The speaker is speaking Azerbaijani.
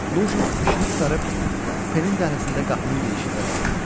Lujin işini qurtarıb kupenin dəhlizində qapının girişində dayandı.